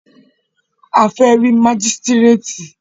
A fẹ́ rí mágístrètì.